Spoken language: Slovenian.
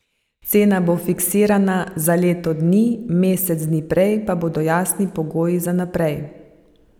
Cena bo fiksirana za leto dni, mesec dni prej pa bodo jasni pogoji za naprej.